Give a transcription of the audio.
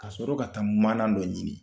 Ka sɔrɔ ka taa mana dɔ ɲini.